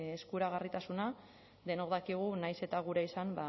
eskuragarritasuna denok dakigu nahiz eta gurea izan